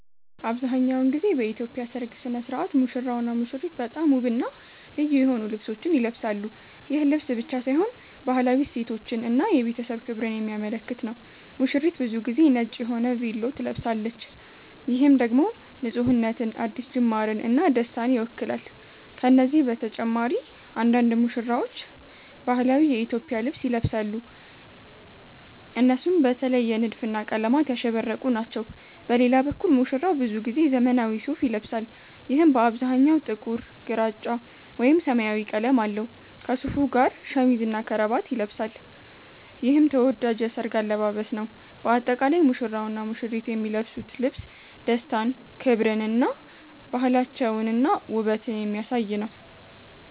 አብዛሀኛውን ጊዜ በኢትዮጵያ ሠርግ ሥነ ሥርዓት ሙሽራውና ሙሽሪት በጣም ውብና ልዩ የሆኑ ልብሶችን ይለብሳሉ። ይህ ልብስ ብቻ ሳይሆን ባህላዊ እሴቶችን እና የቤተሰብ ክብርን የሚያመለክት ነው። ሙሽሪት ብዙ ጊዜ ነጭ የሆነ ቬሎ ትለብሳለች፣ ይህም ደግሞ ንፁህነትን፣ አዲስ ጅማርን እና ደስታን ይወክላል። ከነዚህ በተጨማሪ አንዳንድ ሙሽራዎች ባህላዊ የኢትዮጵያ ልብስ ይለብሳሉ፣ እነሱም በተለየ ንድፍና ቀለማት ያሸበረቁ ናቸው። በሌላ በኩል ሙሽራው ብዙ ጊዜ ዘመናዊ ሱፋ ይለብሳል፣ ይህም በአብዛኛው ጥቁር፣ ግራጫ ወይም ሰማያዊ ቀለም አለው። ከሱፉ ጋር ሸሚዝና ከረባት ይለብሳል፣ ይህም ተወዳጅ የሠርግ አለባበስ ነው። በአጠቃላይ ሙሽራውና ሙሽሪት የሚለብሱት ልብስ ደስታን፣ ክብርን እና ባህላቸውንና ውበትን የሚያሳይ ነው።